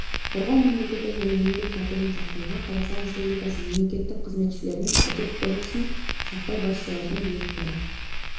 қорғау мемлекеттік және еңбек тәртібін сақтауға қазақстан республикасы мемлекеттік қызметшілерінің әдеп кодексін сақтау басшылардың бұйрықтары